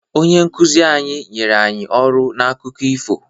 Onye nkuzi anyị nyere anyị ọrụ n'akụkọ ifo.